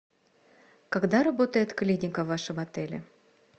когда работает клиника в вашем отеле